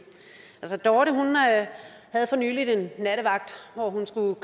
altså dorte havde for nylig en nattevagt hvor hun skulle